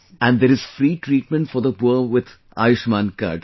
And there is free treatment for the poor with Ayushman card